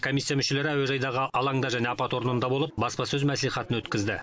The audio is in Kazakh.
комиссия мүшелері әуежайдағы алаңда және апат орнында болып баспасөз мәслихатын өткізді